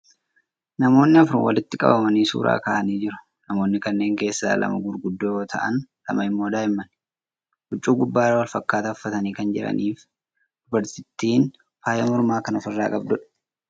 Namootni afur walitti qabamanii suuraa ka'aa jiru. Namootni kanneen keessaa lama gurguddoo yoo ta'an lama immoo daa'immani. Huccuu gubbarraa wal fakkaataa uffatanii kan jiranii fi dubartittiin faaya mormaa kan ofirraa qabduudha.